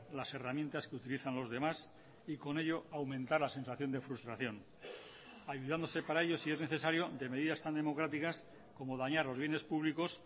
las herramientas que utilizan los demás y con ello aumentar la sensación de frustración ayudándose para ello si es necesario de medidas tan democráticas como dañar los bienes públicos